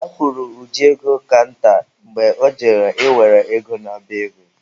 A kwụrụ Uju ego kanta mgbe ọ jere ị were ego n'ọba ego.